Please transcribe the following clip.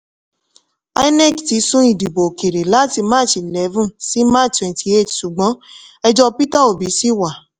inec ti sún ìdìbò òkèèrè láti march eleven sí march twenty eight ṣùgbọ́n ẹjọ́ peter obi ṣì wà.